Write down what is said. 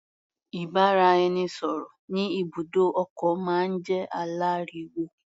Ìbáraẹnisọ̀rọ̀ ní ibùdó ọkọ̀ máa ń jẹ́ aláriwo.